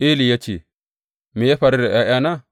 Eli ya ce, Me ya faru da ’ya’yana?